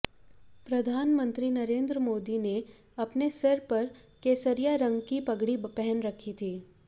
प्रधानमंत्री नरेंद्र मोदी ने अपने सिर पर केसरिया रंग की पगड़ी पहन रखी थी